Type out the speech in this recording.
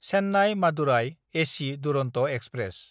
Chennai Madurai AC Duronto express